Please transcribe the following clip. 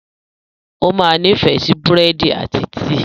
O máa nifẹ si búrẹ́dì ati tíí